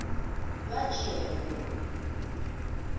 lajewo